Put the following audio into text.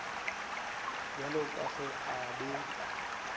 bjalo ka ge a be